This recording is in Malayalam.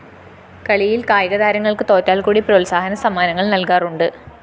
കളിയില്‍ കായികതാരങ്ങള്‍ക്ക് തോറ്റാല്‍ക്കൂടി പ്രോത്സാഹനസമ്മാനങ്ങള്‍ നല്‍കാറുണ്ട്